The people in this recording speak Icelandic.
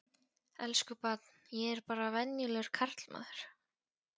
Elsku barn, ég er bara venjulegur karlmaður.